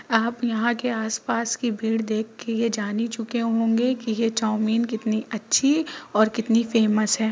आप यहाँ के आसपास की भीड़ देख के ये जान ही चुके होगे कि यह चाऊमीन कितनी अच्छी और कितनी फेमस है ।